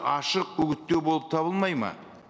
ашық үгіттеу болып табылмайды ма